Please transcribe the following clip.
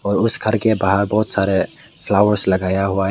और उस घर के बाहर बहोत सारे फ्लावर्स लगाया हुआ है।